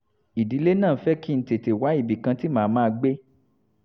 ìdílé náà fẹ́ kí n tètè wá ibì kan tí màá máa gbé